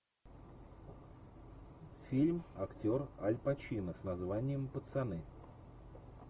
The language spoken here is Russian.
фильм актер аль пачино с названием пацаны